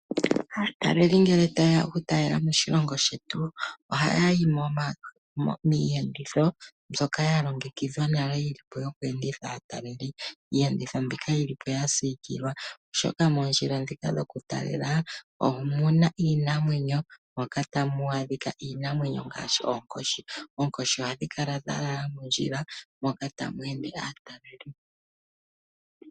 Aataleli ngele taaya okutalela moshilongo shetu ohayahi miihenditho mbyoka yalongekidhwa nale yilipo yoku enditha aataleli. Iiyenditho mbika yilipo yasiikilwa oshoka moondjila dhika dhoku talela omuna iinamwenyo, moka tamu adhika iinamwenyo ngaashi oonkoshi, oonkoshi ohadhi kala dhalala mondjila moka tamu ende aataleli.